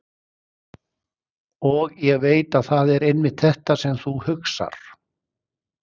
Og ég veit að það er einmitt þetta sem þú hugsar.